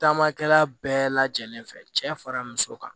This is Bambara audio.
Taamakɛla bɛɛ lajɛlen fɛ cɛ fara muso kan